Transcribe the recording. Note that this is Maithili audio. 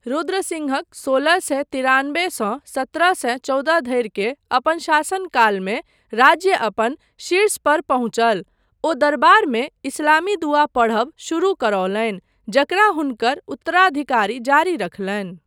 रुद्रसिंहक सोलह सए तिरानबे सँ सत्रह सए चौदह धरि के अपन शासन कालमे राज्य अपन शीर्षपर पहुँचल, ओ दरबारमे इस्लामी दुआ पढ़ब शुरू करौलनि जकरा हुनकर उत्तराधिकारी जारी रखलनि।